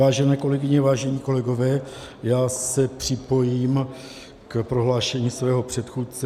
Vážené kolegyně, vážení kolegové, já se připojím k prohlášení svého předchůdce.